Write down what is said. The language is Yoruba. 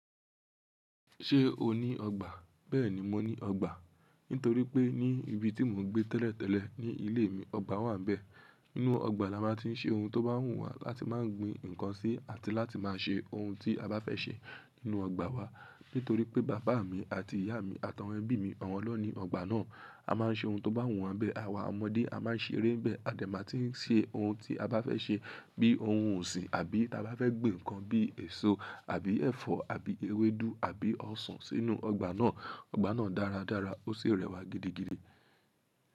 Ṣé o ní ọgbà? Bẹ́ẹ̀ni, mo ní ọgbà. Nítorí pé ní ibi tí mò ń gbé tẹ́lẹ̀ tẹ́lẹ̀ ní ilé mi, ọgbà wà níbẹ̀. Inú ọgbà la máa ti ń ṣe ohun tó bá wùn wà láti máa gbin nǹkan sí àti láti máa ṣe ohun tí a bá fẹ́ ṣe nínú ọgbà wa. Nítorí pé bàbá mi àti ìyá mi àtàwọn ẹbí mi, awọn lo ní ọgbà náà. A máa ń ṣe ohun tó bá wùn wa nbẹ̀, àwa ọmọdé a máa ń ṣeré nbẹ̀, a dẹ̀ máa ti ń ṣe ohun tí a bá fẹ́ ṣe bíi ohun osin àbí taa bá fẹ́ gbin ǹkan bíi èso àbí ẹ̀fọ́ àbí ewédú àbí ọsàn sínú ọgbà náà. Ọgbà náà dáradára ó sì rẹwà gidigidi.